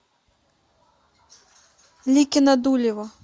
ликино дулево